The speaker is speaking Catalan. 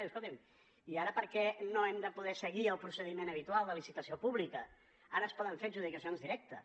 diu escoltin i ara per què no hem de poder seguir el procediment habitual de licitació pública ara es poden fer adjudicacions directes